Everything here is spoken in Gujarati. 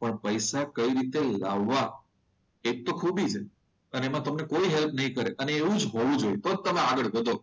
પણ પૈસા કઈ રીતે લાવવા એ જ તો ખૂબી છે અને એમાં તમને કોઈ હેલ્પ નહીં કરે અને એવું જ હોવું જોઈએ તો જ તમે આગળ વધો